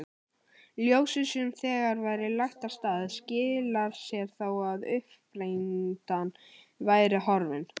Ljósið sem þegar væri lagt af stað skilar sér þó að uppsprettan væri horfin.